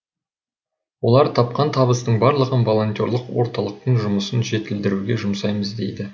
олар тапқан табыстың барлығын волонтерлық орталықтың жұмысын жетілдіруге жұмсаймыз дейді